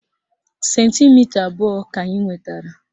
Sentimita abụọ ka anyị nwetara